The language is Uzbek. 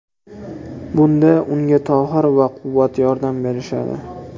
Bunda unga Tohir va Quvvat yordam berishadi.